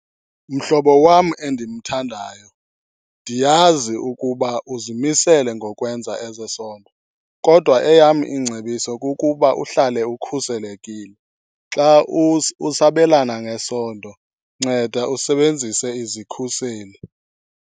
Mhlobo wam endimthandayo, ndiyazi ukuba uzimisele ngokwenza ezesondo kodwa eyam ingcebiso kukuba uhlale ukhuselekile. Xa usabelana ngesondo nceda usebenzise izikhuseli.